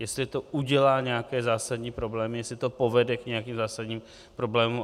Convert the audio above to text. Jestli to udělá nějaké zásadní problémy, jestli to povede k nějakým zásadním problémům.